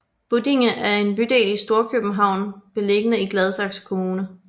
Buddinge er en bydel i Storkøbenhavn beliggende i Gladsaxe Kommune